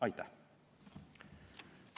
Aitäh!